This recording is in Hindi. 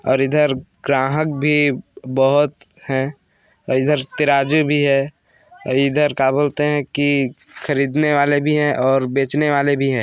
और इधर ग्राहक भी बहोत बहु हैं और इधर तिराजु भी हैं और इधर का बोलते हैं की खरीदने वाले भी हैं और बेचने वाले भी हैं।